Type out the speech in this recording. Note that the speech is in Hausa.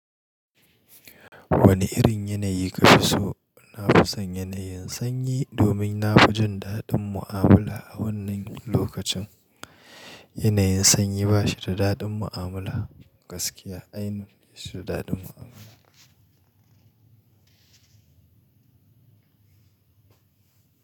Wane irin yanayi kafi so? Na fi son yanayin sanyi domin na fi jin daɗin mu'amala a wannan lokacin. Yanayin sanyi ba shi da daɗin mu'amala, gaskiya. Ainun shi daɗin mu'amala.